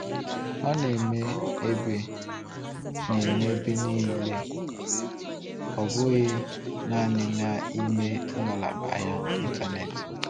Ọ na-eme ebe na-eme ebe niile, ọ bụghị naanị n’ime ngalaba ahịa Ịntanetị.